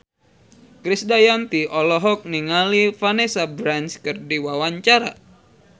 Krisdayanti olohok ningali Vanessa Branch keur diwawancara